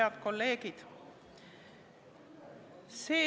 Head kolleegid!